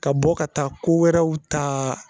Ka bɔ ka taa ko wɛrɛw taa